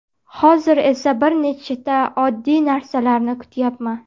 Hozir esa bir nechta oddiy narsalarni kutyapman.